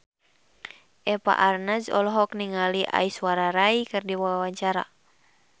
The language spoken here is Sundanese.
Eva Arnaz olohok ningali Aishwarya Rai keur diwawancara